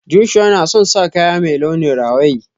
Joshua na son sa kaya mai launin rawaye.